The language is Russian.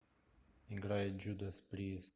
играй джудас прист